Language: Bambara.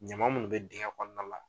Ɲama minnu bɛ dingɛ kɔnɔna la